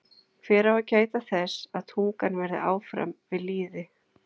Hver á að gæta þess að tungan verði áfram við lýði?